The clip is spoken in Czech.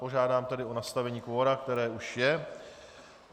Požádám tedy o nastavení kvora, které už je.